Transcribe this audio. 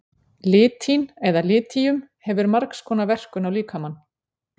Litín eða litíum hefur margs konar verkun á líkamann.